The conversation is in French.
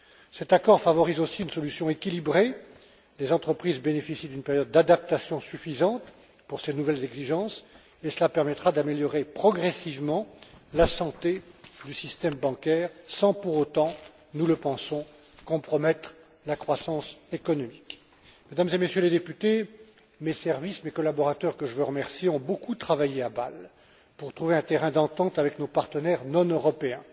Cet accord favorise aussi une solution équilibrée les entreprises bénéficient d'une période d'adaptation suffisante pour ces nouvelles exigences, ce qui permettra d'améliorer progressivement la santé du système bancaire sans pour autant, nous le pensons, compromettre la croissance économique. Mesdames et Messieurs les députés, mes services, mes collaborateurs que je veux remercier ont beaucoup travaillé à Bâle pour trouver un terrain d'entente avec nos partenaires non européens.